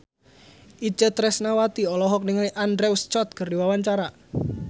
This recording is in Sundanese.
Itje Tresnawati olohok ningali Andrew Scott keur diwawancara